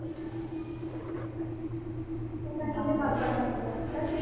ਪਤਾ ਨਹੀ ਉਹਨੇ ਕਦ ਬੰਨਣਾ ਪੂਰਾ ਉਹਦਾ ਸਰੀਰ।